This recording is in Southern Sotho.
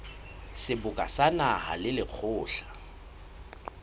seboka sa naha le lekgotla